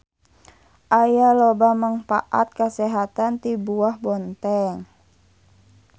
Aya loba mangpaat kasehatan ti buah bontèng.